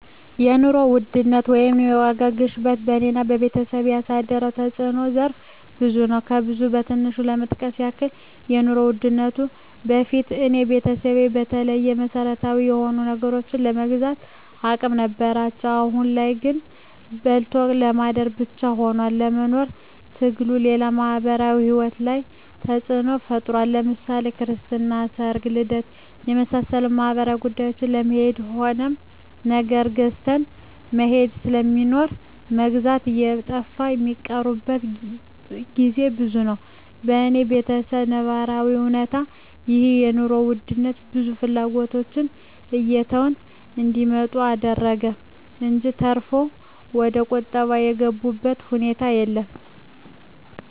የኑሮ ውድነት ወይም የዋጋ ግሽበት በኔና በቤተሰቤ ያሳደረው ተጽኖ ዘርፈ ብዙ ነው። ከብዙ በትንሹ ለመጥቀስ ያክል ከኑሮ ውድነቱ በፊት የኔ ቤተሰብ በተለይ መሰረታዊ የሆኑ ነገሮችን የመግዛት አቅም ነበራቸው አሁን ላይ ግን በልቶ ለማደር ብቻ ሁኗል የመኖር ትግሉ፣ ሌላው ማህበራዊ ሂወታችን ላይ ተጽኖ ፈጥሯል ለምሳሌ ክርስትና፣ ሰርግና ልደት ከመሳሰሉት ማህበራዊ ጉዳዮች ለመሄድ የሆነ ነገር ገዝተህ መሄድ ስለሚኖር መግዣው እየጠፋ ሚቀሩበት ግዜ ብዙ ነው። በኔ በተሰብ ነባራዊ እውነታ ይህ የኑሮ ውድነት ብዙ ፍላጎቶችን እየተው እንዲመጡ አደረገ እንጅ ተርፎ ወደቁጠባ የገቡበት ሁኔታ የለም።